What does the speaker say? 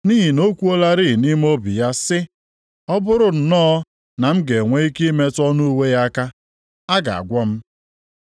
Nʼihi na o kwuolarị nʼime obi ya sị, “Ọ bụrụ nnọọ na m ga-enwe ike metụ ọnụ uwe ya aka, a ga-agwọ m.”